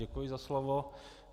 Děkuji za slovo.